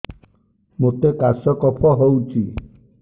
ମୋତେ କାଶ କଫ ହଉଚି